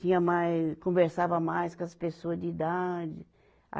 Tinha mais, conversava mais com as pessoas de idade.